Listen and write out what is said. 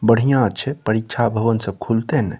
बढ़िया छै परीक्षा भवन सब खुलते ने।